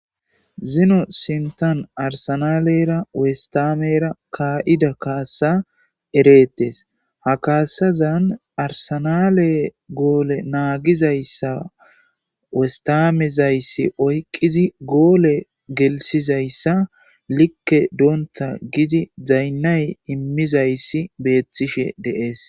Zino sintan arsanalera wostamera kaa7ida kaasa ereettes ha kaasazan arsanale goole naagizayssa westamezayssi oyqqizi goole gelsizayssa likke doonta gidi zaynnay immizayssi beethtishe deees.